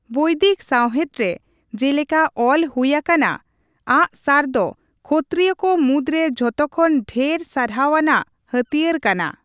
ᱵᱳᱭᱫᱤᱠ ᱥᱟᱶᱦᱮᱫ ᱨᱮ ᱡᱮᱞᱮᱠᱟ ᱚᱞ ᱦᱩᱭᱟᱠᱟᱱᱟ, ᱟᱜᱽᱼᱥᱟᱨ ᱫᱚ ᱠᱷᱚᱛᱛᱨᱤᱭᱚ ᱠᱚ ᱢᱩᱫᱽᱨᱮ ᱡᱚᱛᱚᱠᱷᱚᱱ ᱰᱷᱮᱨ ᱥᱟᱨᱦᱟᱣ ᱟᱱᱟᱜ ᱦᱟᱹᱛᱤᱭᱟᱹᱨ ᱠᱟᱱᱟ ᱾